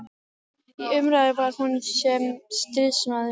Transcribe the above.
Í umræðu var hún sem stríðsmaður.